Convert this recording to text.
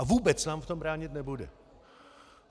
A vůbec nám v tom bránit nebude.